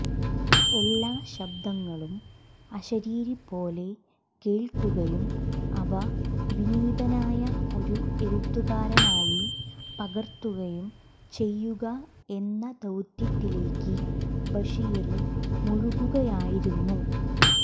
എല്ലാ ശബ്ദങ്ങളും അശരീരി പോലെ കേള്ക്കുകയും അവ വിനീതനായ ഒരു എഴുത്തുകാരനായി പകര്ത്തുകയും ചെയ്യുക എന്ന ദൌത്യത്തിലേക്ക് ബഷീര് മുഴുകുകയായിരുന്നു